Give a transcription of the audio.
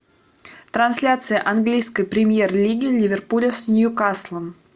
трансляция английской премьер лиги ливерпуля с ньюкаслом